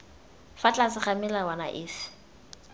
fa tlase ga melawana efe